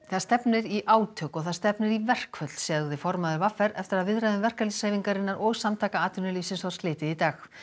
það stefnir í átök og það stefnir í verkföll sagði formaður v r eftir að viðræðum verkalýðshreyfingarinnar og Samtaka atvinnulífsins var slitið í dag